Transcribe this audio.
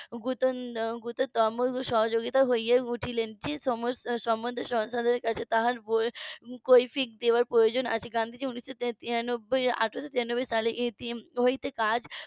উর্ধতন সহযোগী হইয়া উঠিলেন যে সমস্ত জনসাধারণের কাছে তাহার কৈফিয়ত দেওয়ার প্রয়োজন আছে গান্ধীজি উনি তো আঠারোশো তিরানব্বই সালে হইতে কাজ